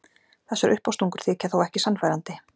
Þessar uppástungur þykja þó ekki sannfærandi.